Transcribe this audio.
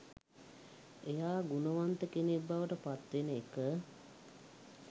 එයා ගුණවන්ත කෙනෙක් බවට පත්වෙන එක.